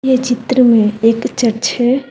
ये चित्र में एक चच है।